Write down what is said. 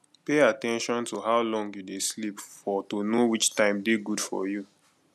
pay at ten tion to how long you dey sleep for to know which time dey good for you